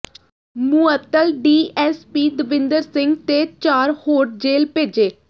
ਮੁਅੱਤਲ ਡੀਐੱਸਪੀ ਦਵਿੰਦਰ ਸਿੰਘ ਤੇ ਚਾਰ ਹੋਰ ਜੇਲ੍ਹ ਭੇਜੇ